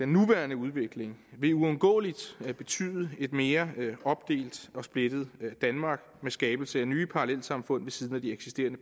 nuværende udvikling vil uundgåeligt betyde et mere opdelt og splittet danmark med skabelse af nye parallelsamfund ved siden af de eksisterende